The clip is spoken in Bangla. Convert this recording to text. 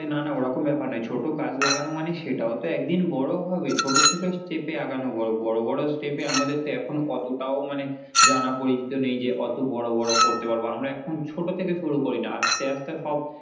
আরে না না ওরকম ব্যাপার নয় ছোট গাছ লাগানো মানে সেটাও তো একদিন বড়ো হবে, ছোট ছোট step এ আগানো ভালো বড়ো বড়ো step এ আমাদের তো এখন অতটাও মানে জানা পরিচিত নেই, যে অত বড়ো বড়ো করতে পারবো, আমরা এখন ছোট থেকে শুরু করি না আস্তে আস্তে সব।